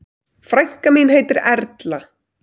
Frænka mín heitir Erla.